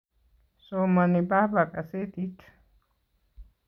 Somani baba kasetit